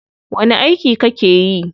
Wani aiki kake yi?